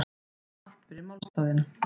Allt fyrir málstaðinn